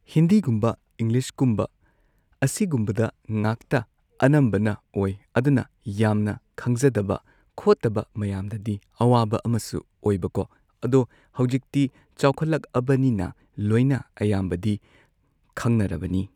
ꯍꯤꯟꯗꯤꯒꯨꯝꯕ ꯏꯪꯂꯤꯁꯀꯨꯝꯕ ꯑꯁꯤꯒꯨꯝꯕꯗ ꯉꯥꯛꯇ ꯑꯅꯝꯕꯅ ꯑꯣꯏ ꯑꯗꯨꯅ ꯌꯥꯝꯅ ꯈꯪꯖꯗꯕ ꯈꯣꯠꯇꯕ ꯃꯌꯥꯝꯗꯗꯤ ꯑꯋꯥꯕ ꯑꯃꯁꯨ ꯑꯣꯏꯕꯀꯣ ꯑꯗꯣ ꯍꯧꯖꯤꯛꯇꯤ ꯆꯥꯎꯈꯠꯂꯛꯑꯕꯅꯤꯅ ꯂꯣꯏꯅ ꯑꯌꯥꯝꯕꯗꯤ ꯈꯪꯅꯔꯕꯅꯤ꯫